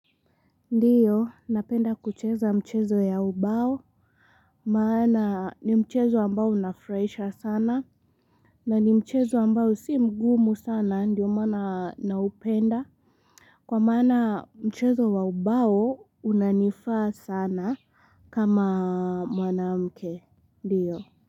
Ndiyo, napenda kucheza mchezo ya ubao, maana ni mchezo ambao unafurahisha sana, na ni mchezo ambao si mgumu sana, ndio maana naupenda. Kwa maana mchezo wa ubao unanifaa sana kama mwanamke, ndiyo.